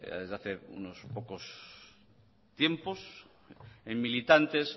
desde hace unos pocos tiempos en militantes